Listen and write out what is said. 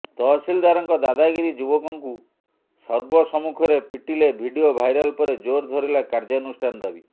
ତହସିଲଦାରଙ୍କ ଦାଦାଗିରି ଯୁବକଙ୍କୁ ସର୍ବସମ୍ମୁଖରେ ପିଟିଲେ ଭିଡିଓ ଭାଇରାଲ ପରେ ଜୋର୍ ଧରିଲା କାର୍ଯ୍ୟାନୁଷ୍ଠାନ ଦାବି